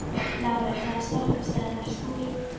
Lárey, hvaða stoppistöð er næst mér?